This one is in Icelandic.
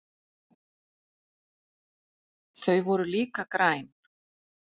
Þau voru líka græn.